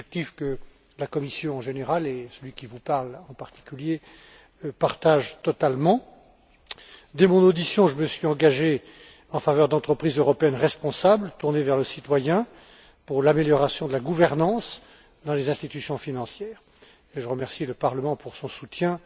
C'est un objectif que la Commission, en général, et celui qui vous parle, en particulier, partagent totalement. Dès mon audition, je me suis engagé en faveur d'entreprises européennes responsables, tournées vers le citoyen, pour l'amélioration de la gouvernance dans les institutions financières. Je remercie le Parlement pour son soutien